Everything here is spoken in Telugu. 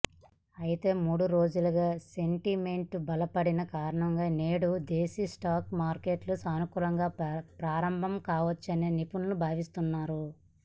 అయితే మూడు రోజులుగా సెంటిమెంటు బలపడిన కారణంగా నేడు దేశీ స్టాక్ మార్కెట్లు సానుకూలంగా ప్రారంభంకావచ్చని నిపుణులు భావిస్తున్నారు